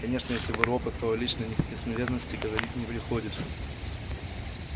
конечно но если вы робот то о личной неприкосновенности говорить не приходится